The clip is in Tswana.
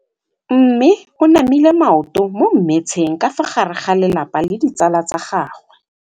Mme o namile maoto mo mmetseng ka fa gare ga lelapa le ditsala tsa gagwe.